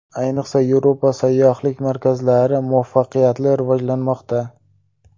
Ayniqsa Yevropa sayyohlik markazlari muvaffaqiyatli rivojlanmoqda.